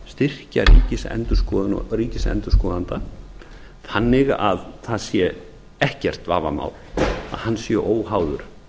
styrkja ríkisendurskoðun og ríkisendurskoðanda þannig að það sé ekkert vafamál að hann sé óháður